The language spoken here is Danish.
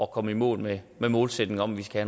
komme i mål med målsætningen om at vi skal